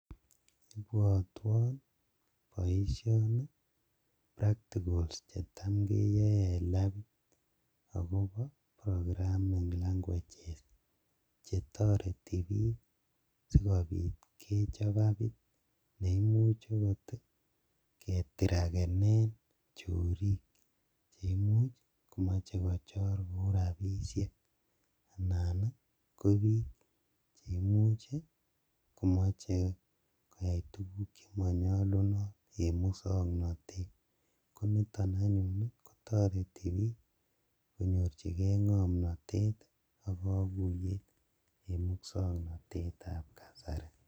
Ibwotwon boishoni practicals chetam keyoe en labiit akobo programming languages chetoreti biik sikobiit kechop appit neimuch okot ketrakenen chorik cheimuch komoche kochor kouu rabishek anan ko biik cheimuch komoche koyaii tukuk chemonyolunot en muswoknotet, koniton anyun kotoreti biik konyorchikee ng'omnotet ak kokuyeet en muswoknotetab kasari.